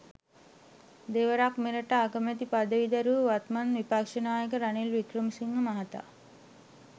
දෙවරක් මෙරට අගමැති පදවි දැරූ වත්මන් විපක්ෂ නායක රනිල් වික්‍රමසිංහ මහතා